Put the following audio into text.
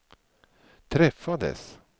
träffades